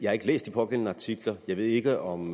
har ikke læst de pågældende artikler og jeg ved ikke om